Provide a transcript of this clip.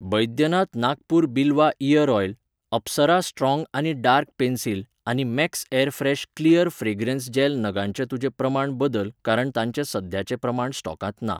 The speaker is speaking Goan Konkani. Baidyanath Nagpur Bilwa ear oil, Apsara strong आनी डार्क पेन्सिल आनी max airfresh clear fragrance gel नगांचें तुजें प्रमाण बदल कारण तांचे सद्याचे प्रमाण स्टॉकांत ना.